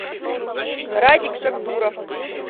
радик шакдуров